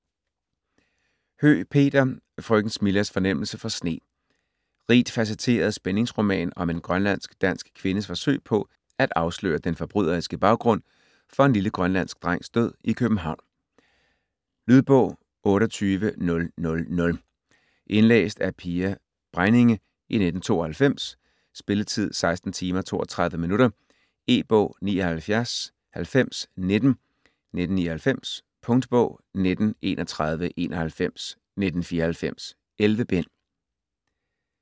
Høeg, Peter: Frøken Smillas fornemmelse for sne Rigt facetteret spændingsroman om en grønlandsk-dansk kvindes forsøg på at afsløre den forbryderiske baggrund for en lille grønlandsk drengs død i København. Lydbog 28000 Indlæst af Pia Bregninge, 1992. Spilletid: 16 timer, 32 minutter. E-bog 799019 1999. Punktbog 193191 1994. 11 bind.